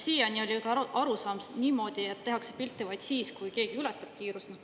Siiani oli arusaam niimoodi, et tehakse pilte vaid siis, kui keegi ületab kiirust.